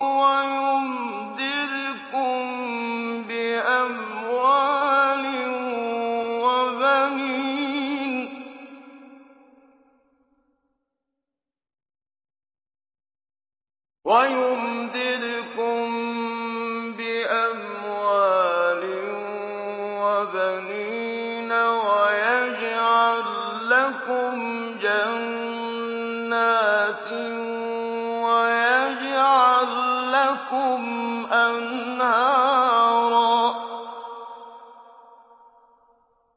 وَيُمْدِدْكُم بِأَمْوَالٍ وَبَنِينَ وَيَجْعَل لَّكُمْ جَنَّاتٍ وَيَجْعَل لَّكُمْ أَنْهَارًا